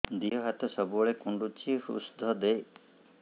ଦିହ ହାତ ସବୁବେଳେ କୁଣ୍ଡୁଚି ଉଷ୍ଧ ଦେ